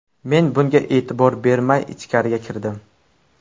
Men bunga e’tibor bermay, ichkariga kirdim.